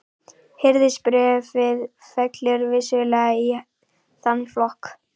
Hirðisbréfið fellur vissulega í þann flokk.